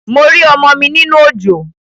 Mo rí ọmọ mi nínú òjò